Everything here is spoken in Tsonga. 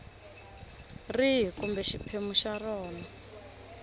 rihi kumbe xiphemu xa rona